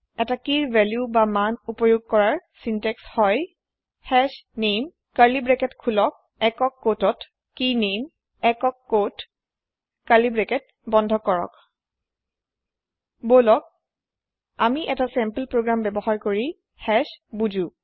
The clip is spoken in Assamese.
এতা কিৰ ভেল্যুমান এক্সেচউপয়োগ কৰাৰ চিন্ত্যেক্স হয় হাশনামে কাৰ্লি ব্ৰেকেট খোলক ছিংলে কোঁৱতে কেইনামে ছিংলে কোঁৱতে কাৰ্লি ব্ৰেকেট বন্ধ কৰক বলক আমি এতা চেম্পল প্ৰগ্ৰেম বয়ৱহাৰ কৰি হাশ বুজো